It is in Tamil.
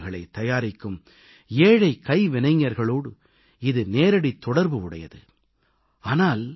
சின்னச் சின்ன அகல் விளக்குகளை தயாரிக்கும் ஏழைக் கைவினைஞர்களோடு இது நேரடித் தொடர்பு உடையது